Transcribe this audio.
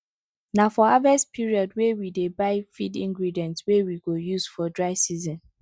na for harvest periodwey we dey buy feed ingredients wey we go use for dry season